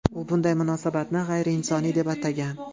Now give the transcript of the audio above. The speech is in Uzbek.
U bunday munosabatni g‘ayriinsoniy deb atagan.